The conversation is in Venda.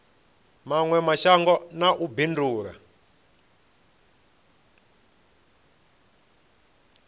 mawe mashango na u bindula